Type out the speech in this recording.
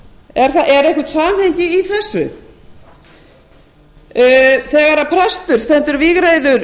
hjá útrásarfyrirtækjunum er eitthvað samhengi í þessu þegar prestur stendur vígreifur